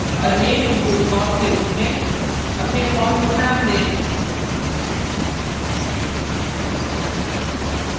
और name input form के रूप में अपने form को name दें